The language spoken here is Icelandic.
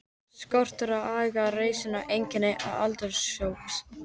Skortur á aga og reisn er einkenni þessa aldurshóps.